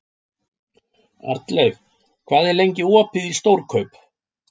Arnleif, hvað er lengi opið í Stórkaup?